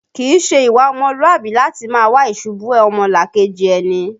Kìí ṣe ìwà ọmọlúàbí láti máa wá ìṣubú ọmọlàkejì ẹni